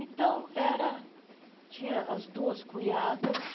Então era, tinha as duas cunhadas,